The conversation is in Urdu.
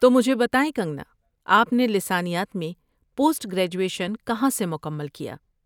تو، مجھے بتائیں، کنگنا، کہ آپ نے لسانیات میں پوسٹ گریجویشن کہاں سے مکمل کیا؟